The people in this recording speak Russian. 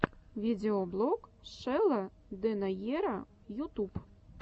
видеоблог шелла дэнаера ютуб